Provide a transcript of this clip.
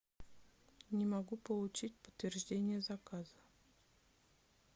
не могу получить подтверждение заказа